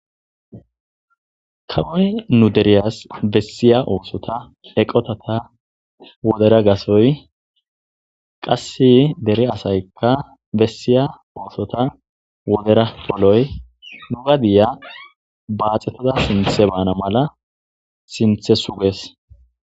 Kawoyi nuu deriyas besiya oththota eqqitata wodera gaththoyi qase dere asayikka bessiya oththota wodera poloyi nuu gadiya baxetada sinththe bana mala sinththe sugees.